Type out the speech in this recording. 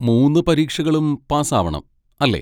മൂന്ന് പരീക്ഷകളും പാസ്സാവണം, അല്ലേ?